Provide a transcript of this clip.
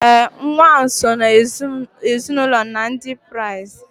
ee, nwa ahụ si n’ezinụlọ Ndị Kraịst